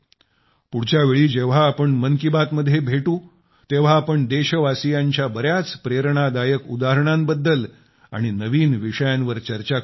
पुढच्या वेळी जेव्हा आपण मन की बात मध्ये भेटू तेव्हा आपण देशवासियांच्या बर्याच प्रेरणादायक उदाहरणांबद्दल आणि नवीन विषयांवर चर्चा करू